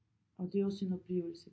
Og det er også en oplevelse